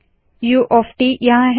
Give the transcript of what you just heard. उ ऑफ ट यहाँ है